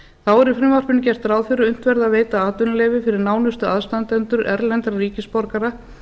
þá er í frumvarpinu gert ráð fyrir að unnt verði að veita atvinnuleyfi fyrir nánustu aðstandendur erlendra ríkisborgara